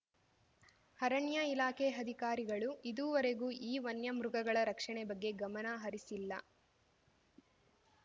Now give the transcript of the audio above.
ಅರಣ್ಯ ಇಲಾಖೆ ಅಧಿಕಾರಿಗಳು ಇದೂವರೆಗೂ ಈ ವನ್ಯಮೃಗಗಳ ರಕ್ಷಣೆ ಬಗ್ಗೆ ಗಮನಹರಿಸಿಲ್ಲ